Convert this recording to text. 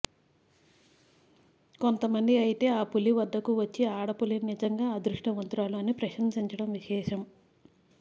కొంతమంది అయితే ఆ పులి వద్దకు వచ్చే ఆడపులి నిజంగా అదృష్టవంతురాలు అని ప్రసంశించడం విశేషం